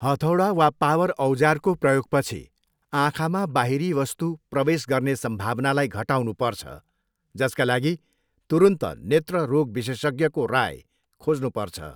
हथौडा वा पावर औजारको प्रयोगपछि आँखामा बाहिरी वस्तु प्रवेश गर्ने सम्भावनालाई घटाउनुपर्छ, जसका लागि तुरुन्त नेत्र रोग विशेषज्ञको राय खोज्नुपर्छ।